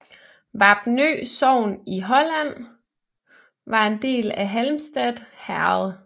Vapnø sogn i Halland var en del af Halmstad herred